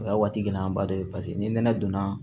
O y'a waati gɛlɛyaba dɔ ye paseke ni nɛnɛ donna